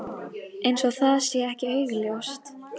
Eins og það sé ekki augljóst.